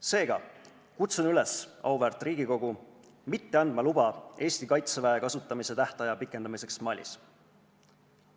Seega kutsun auväärt Riigikogu üles mitte andma luba Eesti kaitseväe kasutamise tähtaja pikendamiseks Malis.